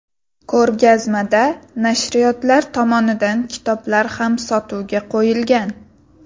Ko‘rgazmada nashriyotlar tomonidan kitoblar ham sotuvga qo‘yilgan.